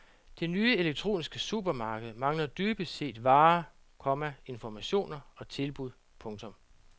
Det nye elektroniske supermarked mangler dybest set varer, komma informationer og tilbud. punktum